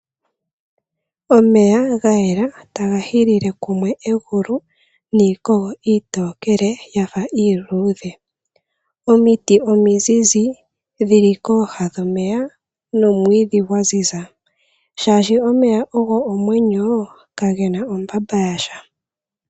Omeya ga yela taga hilile kumwe egulu niikogo iitookele ya fa iiluudhe. Omiti omizizi dhi li kooha dhomeya nomwiidhi gwa ziza, oshoka omeya ogo omwenyo kage na ombapa ya sha.